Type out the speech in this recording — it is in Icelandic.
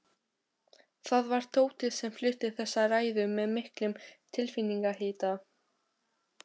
Það var Tóti sem flutti þessa ræðu með miklum tilfinningahita.